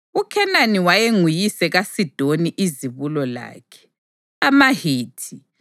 UKhenani wayenguyise kaSidoni izibulo lakhe, amaHithi,